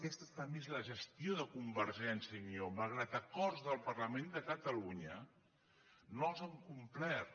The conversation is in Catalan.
aquesta també és la gestió de convergència i unió malgrat acords del parlament de catalunya no els han complert